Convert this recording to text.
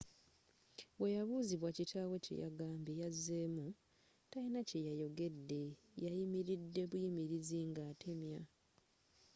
bweyabuuzibwa kitaawe kyeyagambye yazemu talina kye yandiyogedde – yayimiride buyimirizi nga atemya.